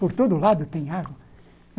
Por todo lado tem água.